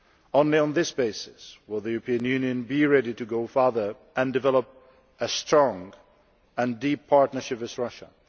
Only on this basis will the European Union be ready to go further and develop a strong and deep partnership with Russia.